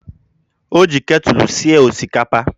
Ọ ji ketụlụ sie osikapa